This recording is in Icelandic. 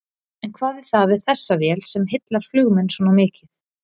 En hvað er það við þessa vél sem heillar flugmenn svona mikið?